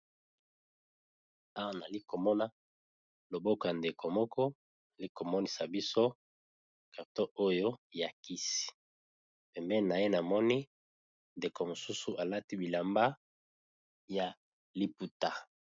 Awa nalikomona loboko ya ndeko moko likomonisa biso carton oyo ya kisi pembeni na ye namoni ndeko mosusu alati bilamba ya liputa.